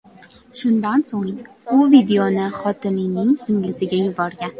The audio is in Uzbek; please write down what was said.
Shundan so‘ng, u videoni xotinining singlisiga yuborgan.